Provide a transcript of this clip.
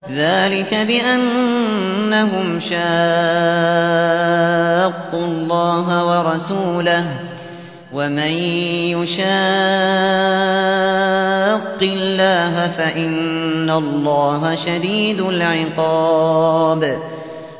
ذَٰلِكَ بِأَنَّهُمْ شَاقُّوا اللَّهَ وَرَسُولَهُ ۖ وَمَن يُشَاقِّ اللَّهَ فَإِنَّ اللَّهَ شَدِيدُ الْعِقَابِ